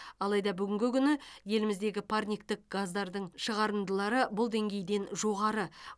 алайда бүгінгі күні еліміздегі парниктік газдардың шығарындылары бұл деңгейден жоғары